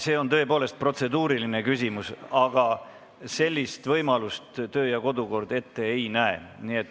See on tõepoolest protseduuriline küsimus, aga sellist võimalust kodu- ja töökord ette ei näe.